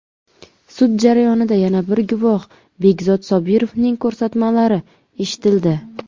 Sud jarayonida yana bir guvoh Begzod Sobirovning ko‘rsatmalari eshitildi.